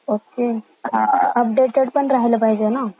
Okay updated पण राहिला पाहिजे ना.